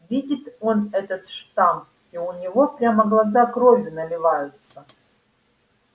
видит он этот штамп и у него прямо глаза кровью наливаются